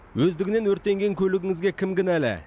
өздігінен өртенген көлігіңізге кім кінәлі